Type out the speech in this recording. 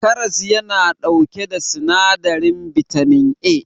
karas yana dauke da sinadirin bitamin A